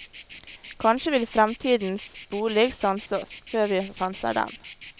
Kanskje vil fremtidens bolig sanse oss, før vi sanser den.